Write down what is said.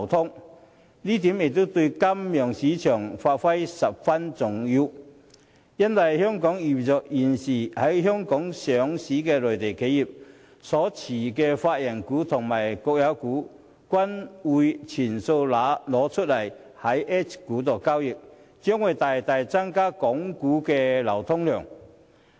這一點對金融市場發展十分重要，因為現時在香港上市的內地企業所持有的法人股和國有股均會全數以 H 股交易，港股的流通量將會大大增加。